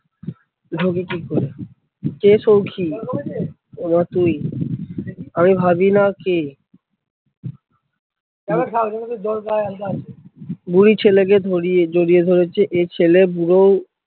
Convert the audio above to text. কে সৌখী? ও মা তুই, আমি ভাবি কে, বুড়ি ছেলেকে ধরিয়ে জড়িয়ে ধরেছে এ ছেলে বুড়ো ও